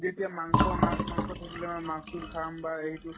যেতিয়া মাংস মাছ মাছ-মাংস থাকিলে আমি মাছো খাম বা এইটো